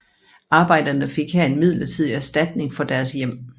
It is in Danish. Arbejderne fik her en midlertidig erstatning for deres hjem